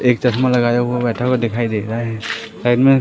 एक चश्मा लगाया हुआ बैठा हुआ दिखाई दे रहा है। साइड में--